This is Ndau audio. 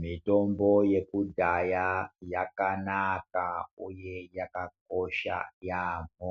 Mitombo yekudhaya yakanaka uye yakakosha yaambo